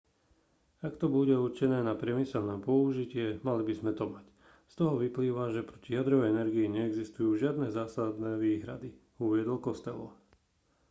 ak to bude určené na priemyselné použitie mali by sme to mať z toho vyplýva že proti jadrovej energii neexistujú žiadne zásadné výhrady uviedol costello